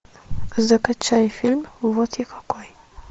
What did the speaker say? закачай фильм вот я какой